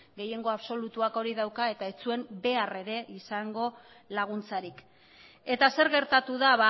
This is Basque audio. gehiengo absolutuak hori dauka eta ez zuen behar ere izango laguntzarik eta zer gertatu da